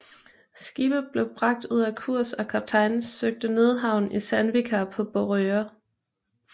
Skibet blev bragt ud af kurs og kaptajnen søgte nødhavn i Sandvika på Borøya